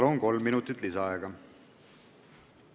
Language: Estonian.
Palun, kolm minutit lisaaega!